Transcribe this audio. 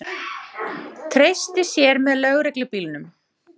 Treysti sér með lögreglubílnum